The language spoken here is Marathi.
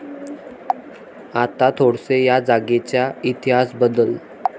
आता थोडेसे या जागेच्या इतिहासाबद्दल